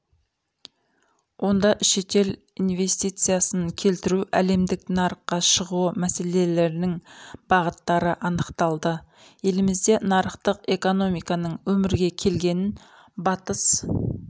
онда шетел инвестициясын келтіру әлемдік нарыққа шығуы мәселелерінің бағыттары анықталды елімізде нарықтық экономиканың өмірге келгенін батыс